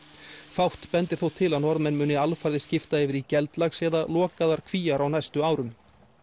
fátt bendir þó til að Norðmenn muni alfarið skipta yfir í geldlax eða lokaðar Kvíar á næstu árum